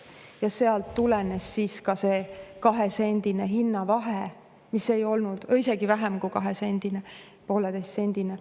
Ja sealt tulenes see kahesendine hinnavahe või isegi vähem kui kahesendine, oli 1,5‑sendine.